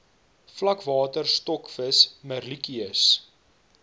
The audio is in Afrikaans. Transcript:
vlakwater stokvis merluccius